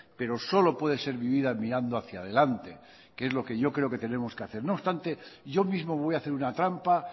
pero solo puede ser vivida mirando hacia delante que es lo que yo creo que tenemos que hacer no obstante yo mismo voy a hacer una trampa